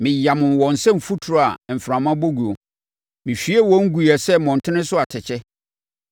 Meyamoo wɔn sɛ mfuturo a mframa bɔ guo; me hwiee wɔn guiɛ sɛ mmɔntene so atɛkyɛ.